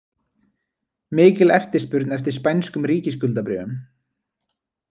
Mikil eftirspurn eftir spænskum ríkisskuldabréfum